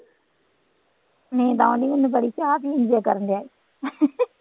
ਨੀਂਦ ਆਉਂਦੀ ਮੈਨੂੰ ਬੜੀ ਚਾਹ ਪੀਣ ਕਰਨਡਿਆ